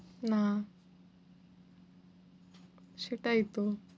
না। সেটাই তো।